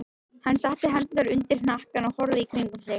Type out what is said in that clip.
Hann setti hendurnar undir hnakkann og horfði í kringum sig.